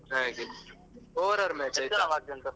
ಹಾಗೆ over arm match .